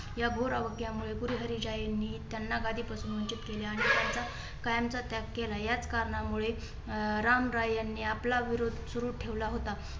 या घोर अवग्यामुळे गुरु हरीराय यांनी त्यांना गादीपासून वंचित केले आणि त्यांचा कायमचा त्याग केला. याच कारणामुळे अं रामराय यांनी आपला विरोध सुरू ठेवला होता.